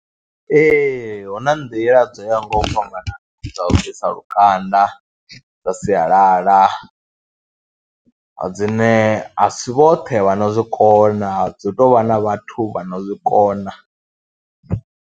Ee, hu na nḓila dzo yaho nga u fhambana dza u bvisa lukanda dza sialala dzine a si vhoṱhe vha no zwi kona, dzi tou vha na vhathu vha no zwi kona.